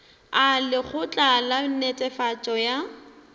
a lekgotla la netefatšo ya